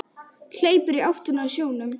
Hleypur í áttina að sjónum.